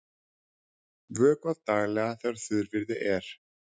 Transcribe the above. Vökvað daglega þegar þurrviðri er.